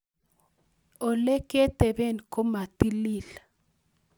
Oleketebee komatilil